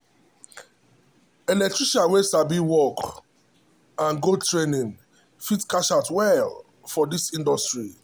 electrician wey sabi work and go training fit cash out well for this industry.